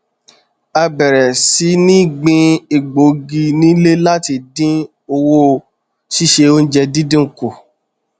a bẹrẹ sí ní gbin egbògi nílé láti dín owó síse oúnjẹ dídùn kù